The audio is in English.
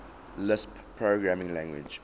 lisp programming language